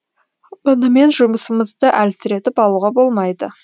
мұнымен жұмысымызды әлсіретіп алуға болмайды